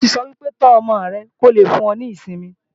A ti sọ́ wípé, "tó ọmọ rẹ kó lè fún ọ ní ìsinmi "